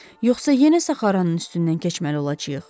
Yoxsa yenə Saharanın üstündən keçməli olacayıq.